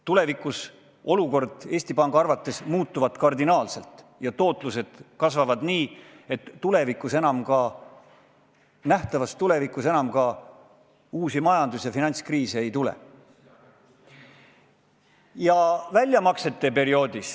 Tulevikus olukord Eesti Panga arvates muutub kardinaalselt ja tootlus kasvab nii, et nähtavas tulevikuks enam uusi majandus- ja finantskriise ei tule.